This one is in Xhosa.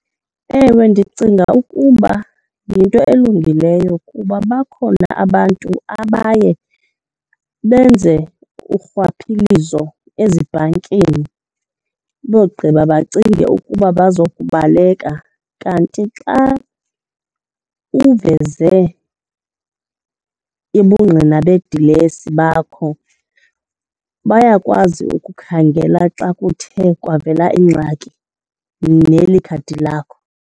Ewe, ndicinga ukuba yinto elungileyo kuba bakhona abantu abaye benze urhwaphilizo ezibhankini bogqiba bacinge ukuba bazokubaleka. Kanti xa uveze ubungqina bedilesi bakho, bayakwazi ukukhangela xa kuthe kwavela ingxaki kunye neli khadi lakho.